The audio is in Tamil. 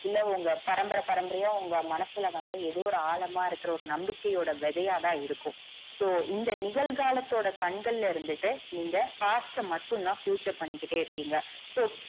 இல்ல உங்க பரம்பர பரம்பரையா உங்க மனசுல வந்து எதோ ஒரு ஆழமா இருக்கற நம்பிக்கையோட விதையாதான் இருக்கும் so இந்த நிகழ்காலத்தோட கண்கல்ல இருந்துட்டு நீங்க past ட மட்டும்தா future பண்ணிகிட்டே இருக்கீங்க so